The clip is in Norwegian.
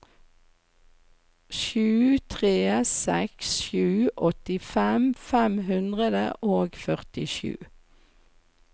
sju tre seks sju åttifem fem hundre og førtisju